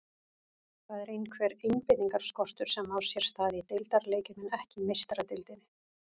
Það er einhver einbeitingarskortur sem á sér stað í deildarleikjum en ekki í Meistaradeildinni.